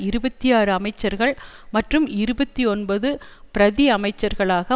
இருபத்தி ஆறு அமைச்சர்கள் மற்றும் இருபத்தி ஒன்பது பிரதி அமைச்சர்களாக